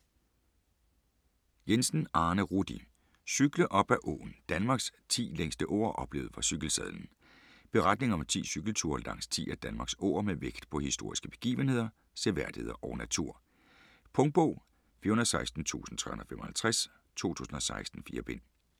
Jensen, Arne Rudi: Cykle op ad åen: Danmarks 10 længste åer oplevet fra cykelsadlen Beretning om 10 cykelture langs 10 af Danmarks åer med vægt på historiske begivenheder, seværdigheder og natur. Punktbog 416355 2016. 4 bind.